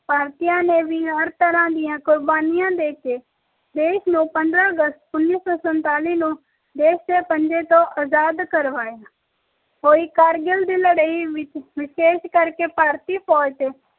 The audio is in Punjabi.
ਭਾਰਤੀਆਂ ਨੇ ਵੀ ਹਰ ਤਰ੍ਹਾਂ ਦੀ ਕੁਰਬਾਨੀਆਂ ਦ ਕੇ ਆਪਣੇ ਦੇਸ਼ ਨੂੰ ਪੰਦਰਾਂ ਅਗਸਤ ਉੱਨੀ ਸੌ ਸੰਤਾਲੀ ਨੂੰ ਅੰਗਰੇਜਾਂ ਦੇ ਪੰਜੇ ਤੋਂ ਆਜ਼ਾਦ ਕਰਵਾਇਆ ਹੋਈ ਕਾਰਗਿਲ ਦੀ ਲੜਾ ਵਿਚ ਵਿਸ਼ੇਸ਼ ਕਰਕੇ ਭਾਰਤੀ ਫੌਜ ਵਿਚ ਸਮੁਚੇ ਭਾਰਤੀਆਂ ਨੇ